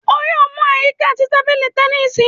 O yoo mu a yika ti tabili tẹnisi!